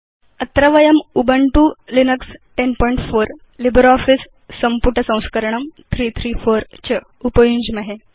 अत्र वयं Ubuntu Linux 1004 LibreOffice सम्पुट संस्करणं 334 च उपयुञ्ज्महे